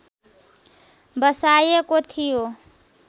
बसाएको थियो